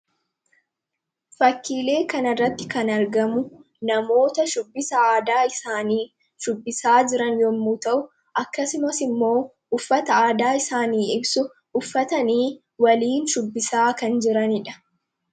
Fakkiilee kanarratti kan argamu namoota shubbisa aadaa isaanii shubbisaa jiran yommuu ta'u, akkasumas immoo uffata aadaa isaanii ibsu uffatanii waliin shubbisaa kan jiranii dha.